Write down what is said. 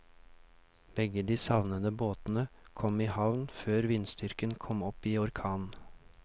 Begge de savnede båtene kom i havn før vindstyrken kom opp i orkan.